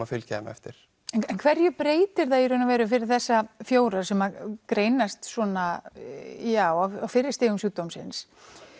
að fylgja þeim eftir en hverju breytir það í raun og veru fyrir þessa fjóra sem greinast svona á fyrri stigum sjúkdómsins